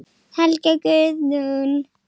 Helga Guðrún.